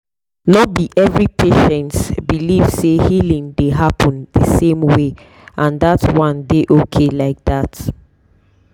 no be every patients believe say healing dey happen the same way and that one dey okay like that.